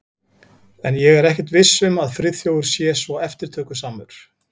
En ég er ekkert viss um að Friðþjófur sé svo eftirtökusamur.